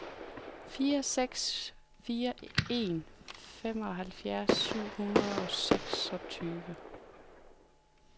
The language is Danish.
fire seks fire en femoghalvfjerds syv hundrede og seksogtyve